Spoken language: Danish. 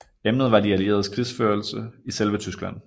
Emnet var de allieredes krigførelse i selve Tyskland